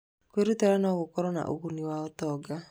Kwĩrutĩra no gũkorwo na ũguni wa ũtonga.